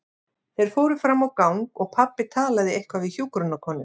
Þeir fóru fram á gang og pabbi talaði eitthvað við hjúkrunarkonu.